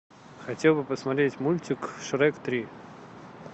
хотел бы посмотреть мультик шрек три